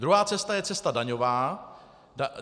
Druhá cesta je cesta daňová.